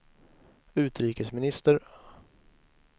utrikesminister